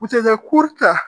U tɛ kɛ ta